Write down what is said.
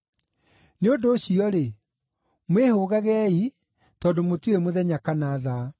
“Nĩ ũndũ ũcio-rĩ, mwĩhũgagei, tondũ mũtiũĩ mũthenya kana thaa.